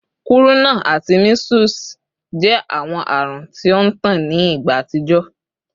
Kuruna ati measles jẹ awọn arun ti o ntan ni igba atijọ